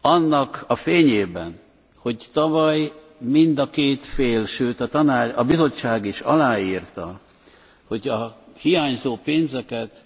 Annak a fényében, hogy tavaly mind a két fél, sőt a Bizottság is aláírta, hogy a hiányzó pénzeket,